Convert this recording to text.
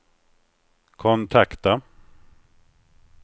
kontakta